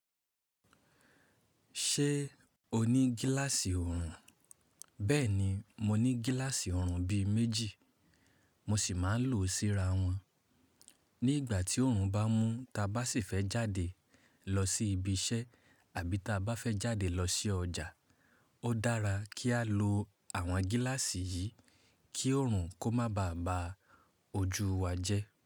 Ṣé o ní gíláàsì orun? Bẹ́ẹ̀ni, mo ní gíláàsì orun bí i méjì, mo sì máa ń lò ó síra wọn. Ní ìgbà tí ọrùn bá mú ta bá sì fẹ́ jáde lọ sí ibi iṣẹ́ àbí ta bá fẹ́ jáde lọ sí ọjà, ó dára kí á lo àwọn gíláàsì yìí kí ọrùn kó má ba à ba ojú wa jẹ́.